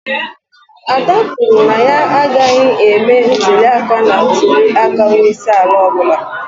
Ada kwuru na ya agaghị eme ntuli aka na ntuli aka onye isi ala ọ bụla.